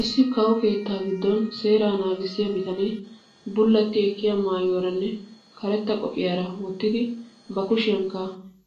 Issi kawo keettaa giddon seeraa nagissiyaa bitane bullati ekkiyaa maayuwaaranne karetta qophiyaa wottidi ba kushiyaanikka